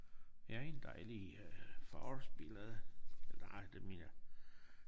her er en dejlig øh forårsbillede ah det mere